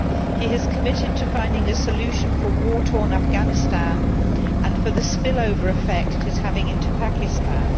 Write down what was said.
He has committed himself to finding a solution for war torn Afghanistan and for the spill over effect it is having into Pakistan.